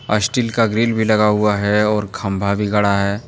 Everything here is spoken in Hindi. स्टील का ग्रिल भी लगा हुआ है और खंबा भी गड़ा है।